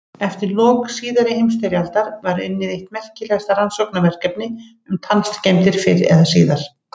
Eftir lok síðari heimsstyrjaldar var unnið eitt merkilegasta rannsóknarverkefni um tannskemmdir fyrr eða síðar.